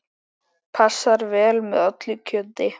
Passar vel með öllu kjöti.